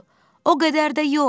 O qədər də yox.